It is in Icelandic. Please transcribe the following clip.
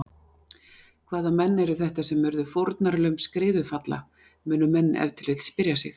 Hvaða menn eru þetta sem urðu fórnarlömb skriðufalla, munu menn ef til vill spyrja sig.